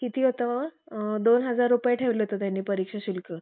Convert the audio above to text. किती होत? अ दोन हजार रुपये ठेवलं होतं त्यांनी परीक्षा शुल्क